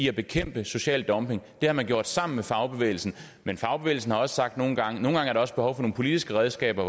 at bekæmpe social dumping det har man gjort sammen med fagbevægelsen men fagbevægelsen har sagt at nogle gange er der også behov for nogle politiske redskaber